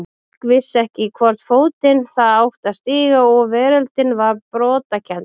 Fólk vissi ekki í hvorn fótinn það átti að stíga og veröldin var brotakennd.